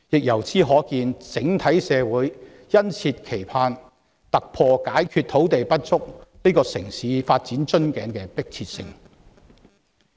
由此可見，整體社會殷切期盼土地不足這個城市發展的瓶頸可以消除，這個迫切問題得到解決。